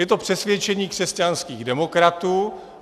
Je to přesvědčení křesťanských demokratů.